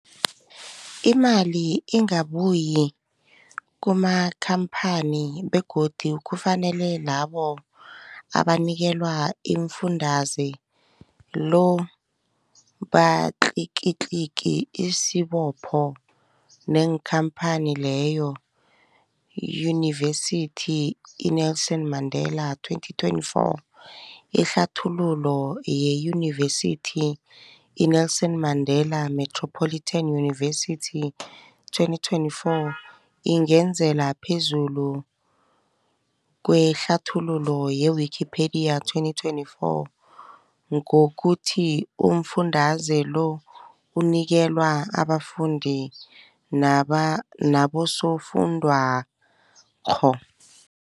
Imali ingabuyi kumakhamphani begodu kufanele labo abanikelwa umfundaze lo batlikitliki isibopho neenkhamphani leyo, Yunivesity i-Nelson Mandela 2024. Ihlathululo yeYunivesithi i-Nelson Mandela Metropolitan University, 2024, ingezelele phezulu kwehlathululo ye-Wikipedia, 2024, ngokuthi umfundaze lo unikelwa abafundi naba nabosofundwakgho.